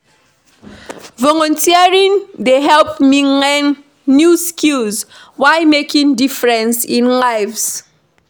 Volunteering dey help me learn new skills while making difference in lives.